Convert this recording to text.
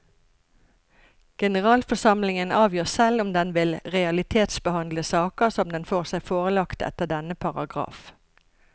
Generalforsamlingen avgjør selv om den vil realitetsbehandle saker som den får seg forelagt etter denne paragraf.